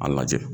A lajɛ